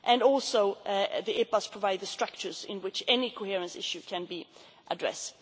trade. Also the EPAs provide the structures in which any coherence issue can